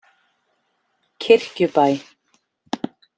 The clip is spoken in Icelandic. Kirkjubæ